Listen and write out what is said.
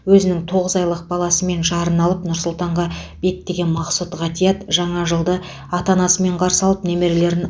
өзінің тоғыз айлық баласы мен жарын алып нұр сұлтанға беттеген мақсұт ғатиат жаңа жылды ата анасымен қарсы алып немерелерін